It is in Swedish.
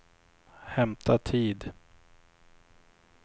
hämta tid